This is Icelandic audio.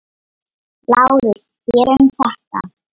LÁRUS: Þér um það.